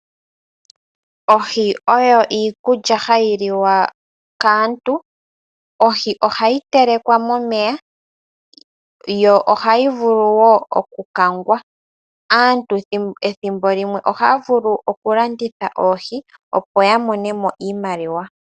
Ohi oyo iikulya hayi liwa kaantu. Ohi ohayi telekwa momeya yo ohayi vulu woo okukangwa. Aantu ethimbo limwe ohaya vulu okulanditha oohi opo yamonemo iimaliwa.